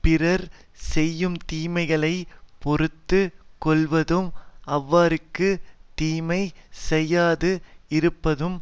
பிறர் செய்யும்தீமைகளைப் பொறுத்து கொள்வதும் அவர்க்குத் தீமை செய்யாது இருப்பதும்